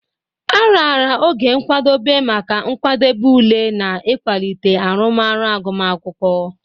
A raara oge nkwadebe maka nkwadebe ule na ịkwalite arụmọrụ agụmakwụkwọ.